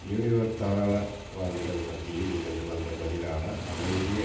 new York தாராளவாதிகள் மத்தியில் இருந்து வந்த பதிலான அமைதி